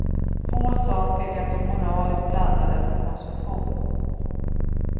Få saker är så moraliskt laddade som konsumtion.